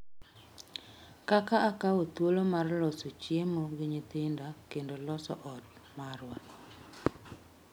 Kaka akawo thuoloni mar loso chiemo gi nyithinda kendo loso ot marwa.